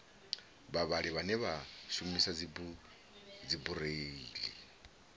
vhavhali vhane vha shumisa dzibureiḽi